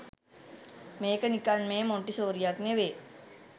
මේක නිකන් මේ මොන්ටිසෝරියක් නෙවේ